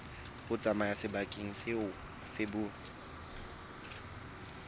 ho tsamaya sebakeng seo feberu